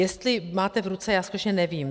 Jestli máte v ruce, já skutečně nevím.